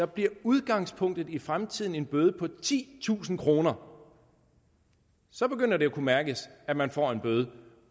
bliver udgangspunktet i fremtiden en bøde på titusind kroner så begynder det at kunne mærkes at man får en bøde